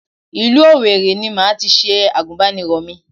Ìlú Òwèrì ni màá tis ̣e Àgùnbánirọ̀ mi